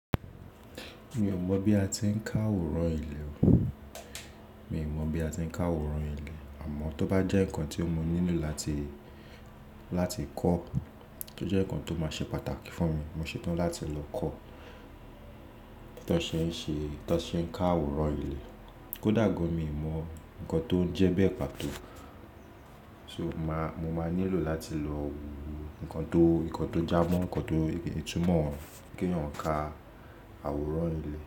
Mi ò mọ̀ bí a ti ń ká àwòrán ilé o. Mi ò mọ̀ bí a ti ń ká àwòrán ilé. Àmọ́ tó bá jẹ́ nǹkan tí mo nílò láti, láti kọ́, tó jẹ́ nǹkan tó máa ṣe pàtàkì fún mi, mo ṣetán láti lọ kọ́ tan ṣe ń ṣe, tan ṣe ń ká àwòrán ilé. Kódà gan mi ò mọ̀ nǹkan tó ń jẹ́ bẹ́ẹ̀ pàtó. So màá, mo máa nílò láti lọ wo nǹkan tó, nǹkan tó já mọ́, nǹkan tó, ìtumọ̀ kí ń yàn ká àwòrán ilé.